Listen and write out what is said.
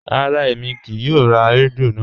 Rárá, èmi kíì yóò rá rẹ́díò náà.